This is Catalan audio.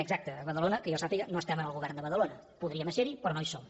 exacte a badalona que jo sàpiga no estem en el govern de badalona podríem serhi però no hi som